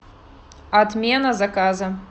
отмена заказа